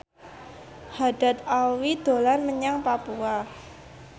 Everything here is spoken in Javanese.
Haddad Alwi dolan menyang Papua